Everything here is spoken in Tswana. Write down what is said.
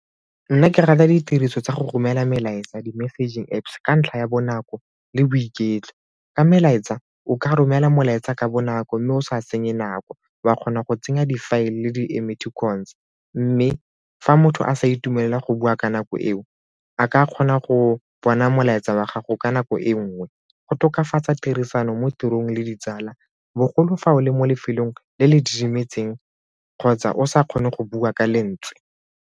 Nna ke rata ditiriso tsa go romela melaetsa di-messaging Apps ka ntlha ya bonako le boiketlo. Ka melaetsa, o ka romela molaetsa ka bonako mme o sa senye nako, wa kgona go tsenya di-file le di-emoticons mme fa motho a sa itumelela go bua ka nako eo a ka kgona go bona molaetsa wa gago ka nako e nngwe. Go tokafatsa tirisano mo tirong le ditsala bogolo fao le mo lefelong le le didimetseng kgotsa o sa kgone go bua ka lentswe.